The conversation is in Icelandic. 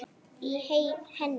í henni